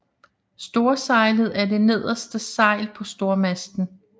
Storsejlet er det nederste sejl på stormasten